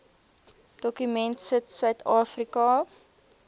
dokument sit suidafrika